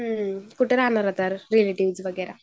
कुठे राहणार रिलेटिव्ह्ज जवळ वगैरा